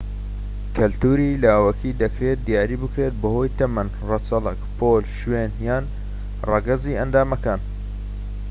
کەلتوری لاوەکی دەکرێت دیاری بێت بەهۆی تەمەن، ڕەچەڵەک، پۆل، شوێن و/یان ڕەگەزی ئەندامەکان